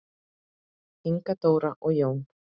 Inga Dóra og Jón.